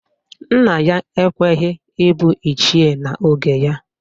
Nna ya ekweghi ịbụ Ichie n'oge ya.